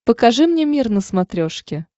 покажи мне мир на смотрешке